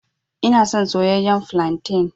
Ina son soyayyen flantain.